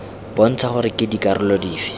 bontsha gore ke dikarolo dife